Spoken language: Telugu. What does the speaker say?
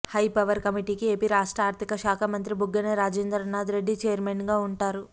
హైపవర్ కమిటీకి ఏపీ రాష్ట్ర ఆర్ధిక శాఖ మంత్రి బుగ్గన రాజేంద్రనాథ్ రెడ్డి ఛైర్మెన్గా ఉంటారు